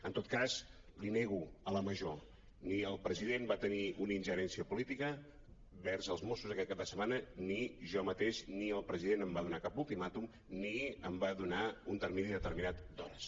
en tot cas li nego la major ni el president va tenir una ingerència política vers els mossos aquest cap de setmana ni jo mateix ni el president em va donar cap ulti·màtum ni em va donar un termini determinat d’hores